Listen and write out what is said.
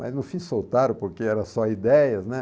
Mas no fim soltaram, porque era só ideias, né?